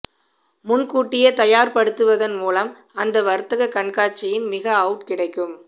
முன்கூட்டியே தயார்படுத்துவதன் மூலம் அந்த வர்த்தக கண்காட்சியின் மிக அவுட் கிடைக்கும்